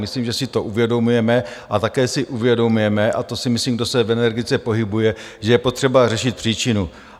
Myslím, že si to uvědomujeme, a také si uvědomujeme, a to si myslím, kdo se v energetice pohybuje, že je potřeba řešit příčinu.